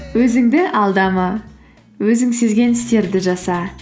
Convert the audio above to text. өзіңді алдама өзің сезген істерді жаса